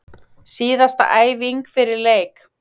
Síðasta æfing fyrir leik!